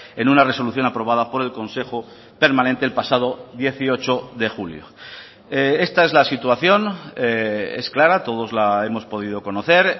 en una resolución aprobada por el consejo permanente el pasado dieciocho de julio esta es la situación es clara todos la hemos podido conocer